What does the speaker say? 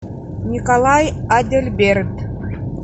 николай адельберт